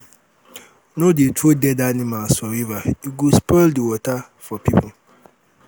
no dey throw dead animals for river e go spoil di water for um people. um